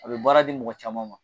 A bɛ baara di mɔgɔ caman ma.